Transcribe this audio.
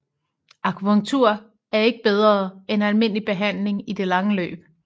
Akupunktur er ikke bedre end almindelig behandling i det lange løb